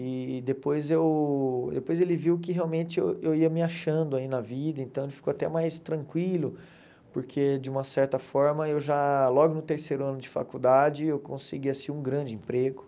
E depois eu depois ele viu que realmente eu eu ia me achando aí na vida, então ele ficou até mais tranquilo, porque de uma certa forma eu já, logo no terceiro ano de faculdade, eu consegui assim um grande emprego.